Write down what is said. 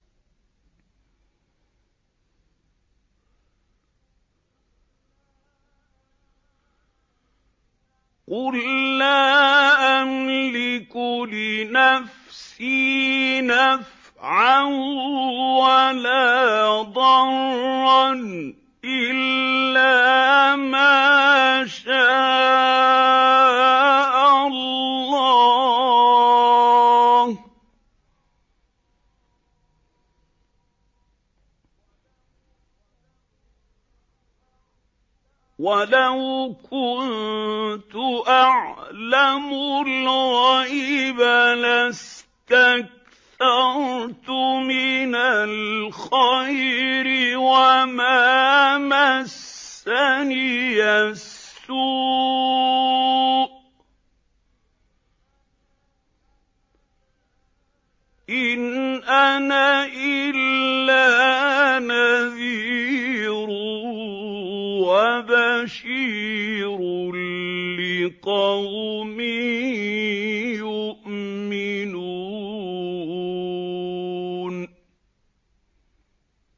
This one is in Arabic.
قُل لَّا أَمْلِكُ لِنَفْسِي نَفْعًا وَلَا ضَرًّا إِلَّا مَا شَاءَ اللَّهُ ۚ وَلَوْ كُنتُ أَعْلَمُ الْغَيْبَ لَاسْتَكْثَرْتُ مِنَ الْخَيْرِ وَمَا مَسَّنِيَ السُّوءُ ۚ إِنْ أَنَا إِلَّا نَذِيرٌ وَبَشِيرٌ لِّقَوْمٍ يُؤْمِنُونَ